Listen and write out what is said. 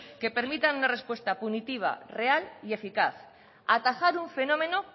que permitan una respuesta punitiva real y eficaz atajar un fenómeno